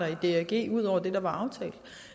i drg ud over det der var aftalt